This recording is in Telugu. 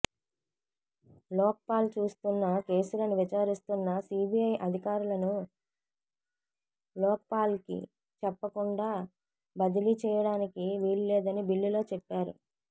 లోక్పాల్ చూస్తున్న కేసులను విచారిస్తున్న సిబిఐ అధికారులను లోక్పాల్కి చెప్పకుండా బదిలీ చేయడానికి వీల్లేదని బిల్లులో చెప్పారు